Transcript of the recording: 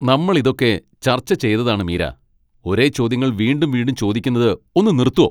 നമ്മൾ ഇതൊക്കെ ചർച്ച ചെയ്തതാണ് മീര! ഒരേ ചോദ്യങ്ങൾ വീണ്ടും വീണ്ടും ചോദിക്കുന്നത് ഒന്ന് നിർത്തോ ?